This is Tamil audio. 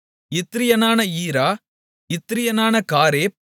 இத்ரியனான ஈரா இத்ரியனான காரேப்